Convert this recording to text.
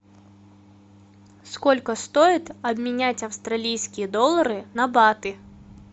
сколько стоит обменять австралийские доллары на баты